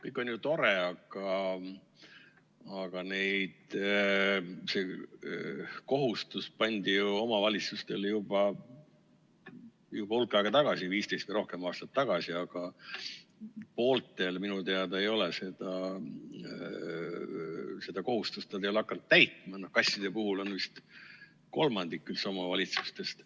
Kõik on ju tore, aga see kohustus pandi omavalitsustele juba hulk aega tagasi, 15 või rohkem aastat tagasi, aga pooled minu teada ei ole seda kohustust hakanud täitma, kasside puhul vist kolmandik omavalitsustest.